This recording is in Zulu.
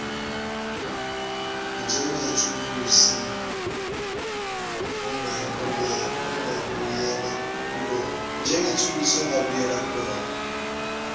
njengethuluzi ongabuyela kulona